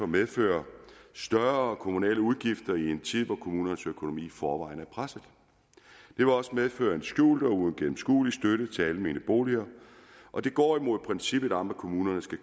medføre større kommunale udgifter i en tid hvor kommunernes økonomi i forvejen er presset det vil også medføre en skjult og uigennemskuelig støtte til almene boliger og det går imod princippet om at kommunerne skal